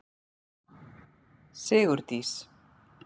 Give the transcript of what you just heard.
Sigurdís